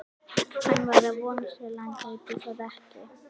Hann var að vonast til að hann gæti það ekki.